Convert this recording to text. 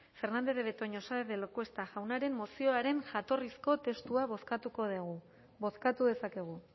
fernandez de betoño saenz de lacuesta jaunaren mozioaren jatorrizko testua bozkatuko dugu bozkatu dezakegu